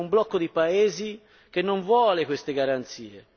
C'è un blocco di paesi che non vuole queste garanzie.